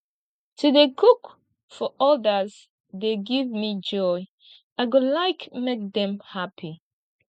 to dey cook for odas dey give me joy i go like make dem happy